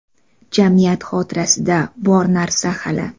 Jamiyat xotirasida bor narsa hali.